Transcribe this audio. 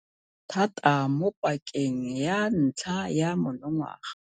Thata mo pakeng ya ntlha ya monongwaga.